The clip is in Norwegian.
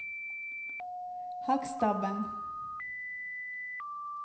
Hakkstabben